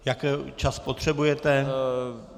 Jaký čas potřebujete?